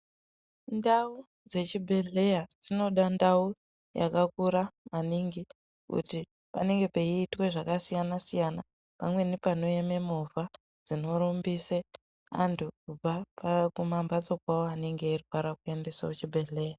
Ndau dzechibhedhlera dzinoda ndau yakakura maningi kuti panenge peitwe zvakasiyana siyana pamweni panoema movha ndinorumbise vantu kubve kumambatso kwavo anenge achirwara kuendeswe kuchibhedhlera .